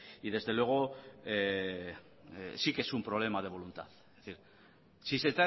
y desde luego sí que es un problema de voluntad es decir si se